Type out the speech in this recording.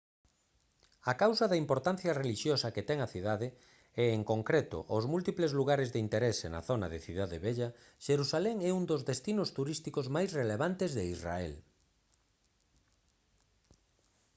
a causa da importancia relixiosa que ten a cidade e en concreto aos múltiples lugares de interese na zona da cidade vella xerusalén é un dos destinos turísticos máis relevantes de israel